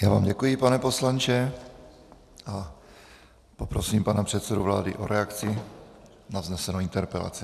Já vám děkuji, pane poslanče, a poprosím pana předsedu vlády o reakci na vznesenou interpelaci.